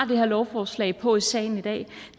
her lovforslag på i salen i dag